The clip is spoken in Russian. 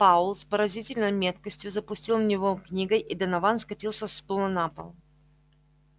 пауэлл с поразительной меткостью запустил в него книгой и донован скатился со стула на пол